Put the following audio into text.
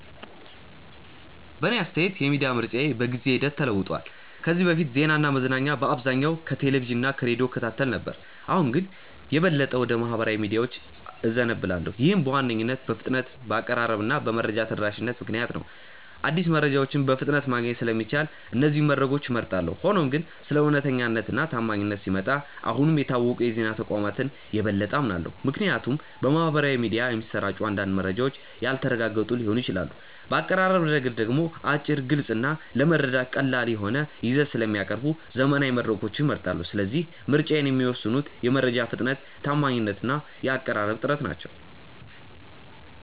በእኔ አስተያየት የሚዲያ ምርጫዬ በጊዜ ሂደት ተለውጧል። ከዚህ በፊት ዜናና መዝናኛ በአብዛኛው ከቴሌቪዥን እና ከሬዲዮ እከታተል ነበር፣ አሁን ግን የበለጠ ወደ ማኅበራዊ ሚዲያዎች እዘነብላለሁ። ይህም በዋነኝነት በፍጥነት፣ በአቀራረብ እና በመረጃ ተደራሽነት ምክንያት ነው። አዲስ መረጃዎችን በፍጥነት ማግኘት ስለሚቻል እነዚህን መድረኮች እመርጣለሁ። ሆኖም ግን ስለ እውነተኛነት እና ታማኝነት ሲመጣ አሁንም የታወቁ የዜና ተቋማትን የበለጠ አምናለሁ፣ ምክንያቱም በማኅበራዊ ሚዲያ የሚሰራጩ አንዳንድ መረጃዎች ያልተረጋገጡ ሊሆኑ ይችላሉ። በአቀራረብ ረገድ ደግሞ አጭር፣ ግልጽ እና ለመረዳት ቀላል የሆነ ይዘት ስለሚያቀርቡ ዘመናዊ መድረኮችን እመርጣለሁ። ስለዚህ ምርጫዬን የሚወስኑት የመረጃ ፍጥነት፣ ታማኝነት እና የአቀራረብ ጥራት ናቸው።